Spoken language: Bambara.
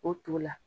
O to la